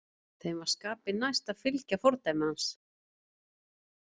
Þeim var skapi næst að fylgja fordæmi hans.